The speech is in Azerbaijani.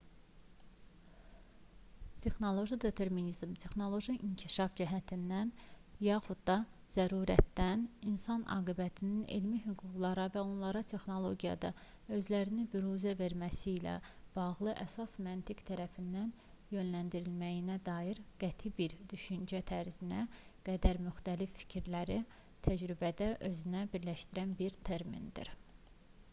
texnoloji determinizm texnoloji inkişaf cəhdindən yaxud da zərurətdən insan aqibətinin elmi hüquqlarla və onların texnologiyada özlərini büruzə verməsi ilə bağlı əsas məntiq tərəfindən yönləndirildiyinə dair qəti bir düşüncə tərzinə qədər müxtəlif fikirləri təcrübədə özündə birləşdirən bir termindir